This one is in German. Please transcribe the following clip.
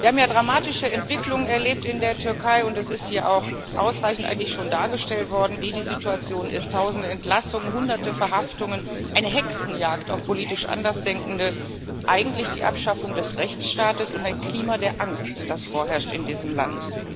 Wir haben ja dramatische Entwicklungen erlebt in der Türkei, und es ist hier auch eigentlich schon ausreichend dargestellt worden, wie die Situation ist Tausende Entlassungen, Hunderte Verhaftungen, eine Hexenjagd auf politisch Andersdenkende, eigentlich die Abschaffung des Rechtsstaates und ein Klima der Angst, das vorherrscht in diesem Land.